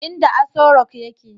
inda Asorock yake